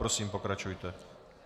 Prosím, pokračujte.